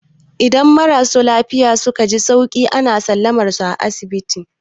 Idan marasa lafiya suka ji sauki, ana sallamar su daga asibiti.